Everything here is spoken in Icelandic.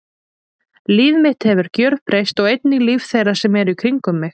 Líf mitt hefur gjörbreyst og einnig líf þeirra sem í kringum mig eru.